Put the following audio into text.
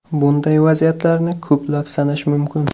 Bunday vaziyatlarni ko‘plab sanash mumkin.